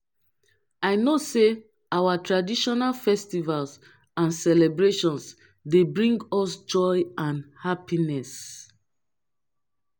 i know say our traditional festivals and celebrations dey bring us joy and happiness.